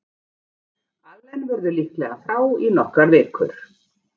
Allen verður líklega frá í nokkrar vikur.